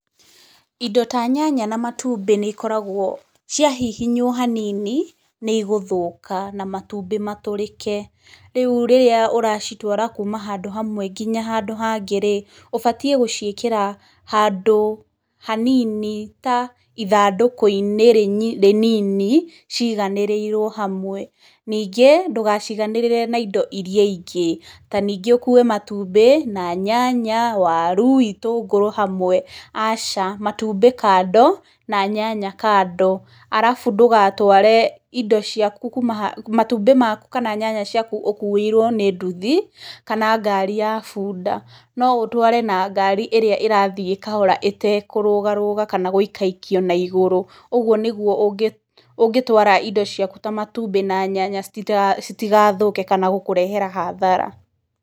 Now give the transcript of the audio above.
Indo ta nyanya na matumbĩ nĩ ikoragwo, cia hihinywo hanini, nĩ igũthũka, na matumbĩ matũrĩke. Rĩu rĩrĩa ũracitwara kuuma handũ hamwe nginya handũ hangĩ rĩ, ũbatiĩ gũciĩkĩra handũ hanini, ta ithandũkũ-inĩ rĩnini, ciiganĩrĩirwo hamwe, ningĩ, ndũgaciiganĩrĩre na indo irĩa ingĩ, ta ningĩ ũkue matumbĩ, na nyanya, waru, itũngũrũ, hamwe, aca matumbĩ kando na nyanya kando alafu ndũgatware indo ciaku kuuma, matũmbĩ maku kana nyanya ciaku ũkuĩirwo nĩ nduthi, kana ngaari ya bunda, no ũtware na ngari ĩrĩa ĩrathiĩ kahora ĩtekũrũgarũga kana gũikaikio na igũrũ. Ũguo nĩ guo ũngĩtwara indo ciaku ta matumbĩ na nyanya citigathũke kana gũkũrehera hathara.